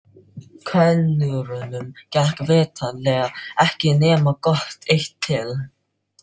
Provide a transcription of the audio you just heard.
Kennurunum gekk vitanlega ekki nema gott eitt til.